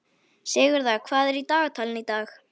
Sigurða, hvað er í dagatalinu í dag?